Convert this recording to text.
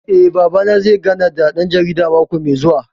Eh, Babana zai gana da ɗan jaridar mako mai zuwa